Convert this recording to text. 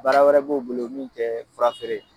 Baara wɛrɛ b'o bolo min tɛ fura feere ye!